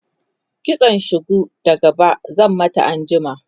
kitsan shuku da gaba zan mata anjima